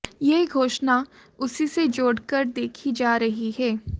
यह घोषणा उसी से जोड़कर देखी जा रही है